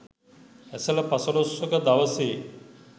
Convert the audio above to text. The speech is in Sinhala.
ඇසළ පසළොස්වක දවසේ